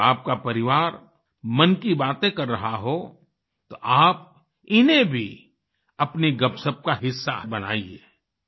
जब आपका परिवार मन की बातें कर रहा हो तो आप इन्हें भी अपनी गपशप का हिस्सा बनाइये